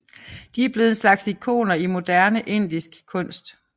De er blevet en slags ikoner i moderne indisk kunst